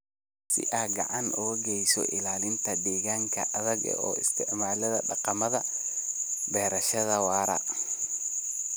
Si aad gacan uga geysato ilaalinta deegaanka adiga oo isticmaalaya dhaqamada beerashada waara.